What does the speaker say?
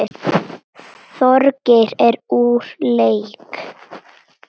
Þorgeir er úr leik.